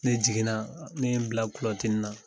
Ne jiginna, ne ye n bila kulɔtinin na.